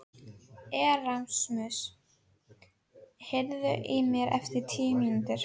Erasmus, heyrðu í mér eftir tíu mínútur.